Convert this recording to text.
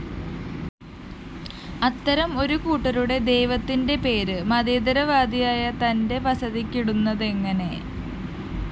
അത്തരം ഒരുകൂട്ടരുടെ ദൈവത്തിന്റെ പേര് മതേതരവാദിയായ തന്റെ വസതിക്കിടുന്നതെങ്ങനെ